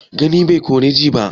Gani bai kori ji ba?